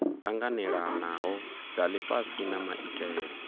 tanganelanaho dza lifhasi na maitele